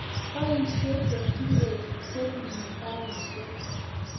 Poishe keturek che punu karishet